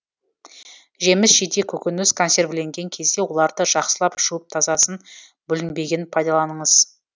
жеміс жидек көкөніс консервіленген кезде оларды жақсылап жуып тазасын бүлінбегенін пайдаланыңыз